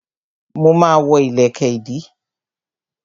Mo ma ma wọ́ ìlẹ̀kẹ̀ ìdí